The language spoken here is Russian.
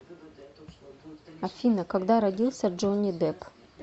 афина когда родился джонни депп